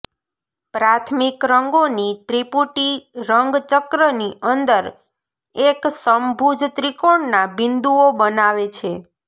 પ્રાથમિક રંગોનો ત્રિપુટી રંગ ચક્રની અંદર એક સમભુજ ત્રિકોણના બિંદુઓ બનાવે છે